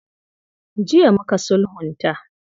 Jiya muka sulhunta.